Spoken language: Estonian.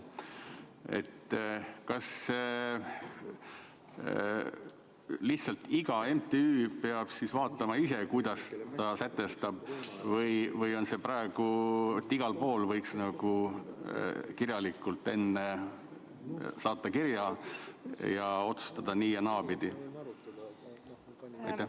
Kas lihtsalt iga MTÜ peab ise vaatama, kuidas ta sätestab, või on see praegu igal pool nii, et võib nagu enne saata kirja, et otsustad nii- või naapidi?